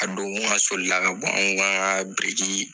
A don n k'asɔlila ka bɔn an ka birirkii